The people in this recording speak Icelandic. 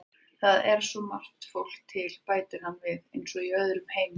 Það er svo margt fólk til, bætir hann við, eins og í öðrum heimi.